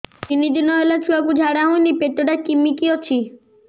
ତିନି ଦିନ ହେଲା ଛୁଆକୁ ଝାଡ଼ା ହଉନି ପେଟ ଟା କିମି କି ଅଛି